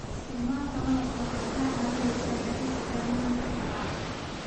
Isticmaalka malabka waxay kaa caawinaysaa yaraynta darnaanta qufaca.